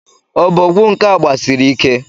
Obogwu nke a gbasiri ike!